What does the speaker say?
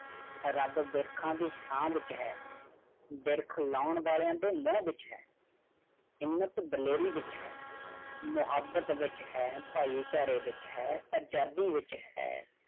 Rub ਵਿਰਖਾ ਦੀ ਛਾਂ ਵਿਚ ਹੈ। ਵਿਰਖ ਲੋਣ ਵਾਲਿਆਂ ਦੇ ਮੂੰਹ ਵਿਚ ਹੈ। ਹਿੰਮਤ ਦਿਲੇਰੀ ਵਿਚ ਹੈ, ਮੁਹੱਬਤ ਵਿਚ ਹੈ, ਭਾਈਚਾਰੇ ਵਿਚ ਹੈ, ਆਜ਼ਾਦੀ ਵਿਚ ਹੈ।